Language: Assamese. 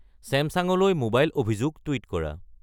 চেমছাংলৈ মোবাইল অভিযোগ টুইট কৰা